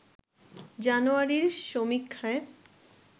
জানুয়ারির সমীক্ষায়